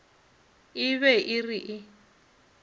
e be e re e